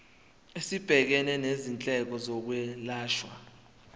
esibhekene nezindleko zokwelashwa